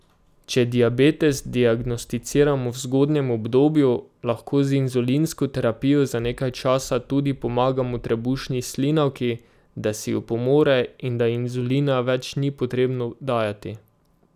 Če diabetes diagnosticiramo v zgodnjem obdobju, lahko z inzulinsko terapijo za nekaj časa tudi pomagamo trebušni slinavki, da si opomore in da inzulina več ni potrebno dajati.